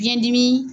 Biyɛn dimi